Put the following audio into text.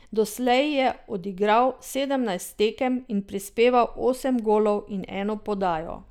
Doslej je odigral sedemnajst tekem in prispeval osem golov in eno podajo.